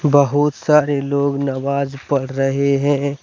बहुत सारे लोग नमाज़ पढ़ रहे हैं।